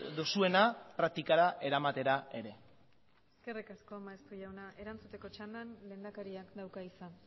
duzuena praktikara eramatera ere eskerrik asko maeztu jauna erantzuteko txandan lehendakariak dauka hitza